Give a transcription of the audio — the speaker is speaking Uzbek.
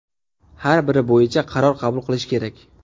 Har biri bo‘yicha qaror qabul qilish kerak.